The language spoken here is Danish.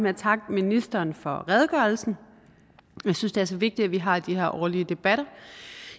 at takke ministeren for redegørelsen jeg synes det er så vigtigt at vi har de her årlige debatter